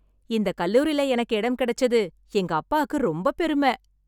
இந்த கல்லூரில எனக்கு இடம் கிடைச்சது எங்க அப்பாக்கு ரொம்ப பெரும.